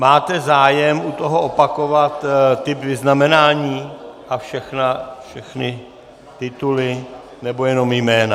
Máte zájem u toho opakovat ta vyznamenání a všechny tituly, nebo jenom jména?